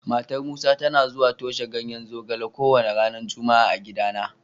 Matar Musa tana zuwa toshe ganyen zogale kowane ranar Juma'a a gidana.